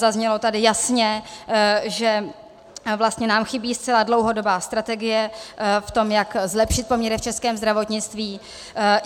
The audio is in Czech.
Zaznělo tady jasně, že vlastně nám chybí zcela dlouhodobá strategie v tom, jak zlepšit poměry v českém zdravotnictví.